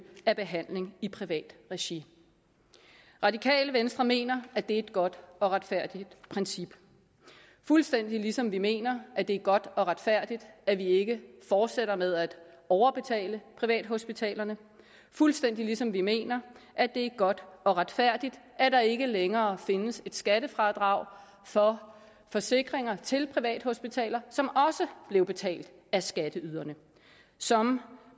af behandling i privat regi radikale venstre mener at det er et godt og retfærdigt princip fuldstændig ligesom vi mener at det er godt og retfærdigt at vi ikke fortsætter med at overbetale privathospitalerne fuldstændig ligesom vi mener at det er godt og retfærdigt at der ikke længere findes et skattefradrag for forsikringer til privathospitaler som også blev betalt af skatteyderne som